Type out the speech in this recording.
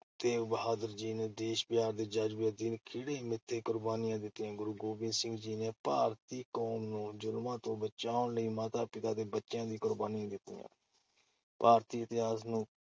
ਤੇਗ ਬਹਾਦਰ ਜੀ ਨੇ ਦੇਸ਼-ਪਿਆਰ ਦੇ ਜ਼ਜ਼ਬੇ ਅਧੀਨ ਖਿੜੇ ਮੱਥੇ ਕੁਰਬਾਨੀਆਂ ਦਿੱਤੀਆਂ। ਗੁਰੂ ਗੋਬਿੰਦ ਸਿੰਘ ਜੀ ਨੇ ਭਾਰਤੀ ਕੌਮ ਨੂੰ ਜ਼ੁਲਮਾਂ ਤੋਂ ਬਚਾਉਣ ਲਈ ਮਾਤਾ-ਪਿਤਾ ਤੇ ਬੱਚਿਆਂ ਦੀਆਂ ਕੁਰਬਾਨੀਆਂ ਦਿੱਤੀਆਂ। ਭਾਰਤੀ ਇਤਿਹਾਸ ਨੂੰ